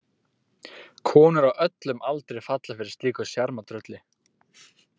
Konur á öllum aldri falla fyrir slíku sjarmatrölli.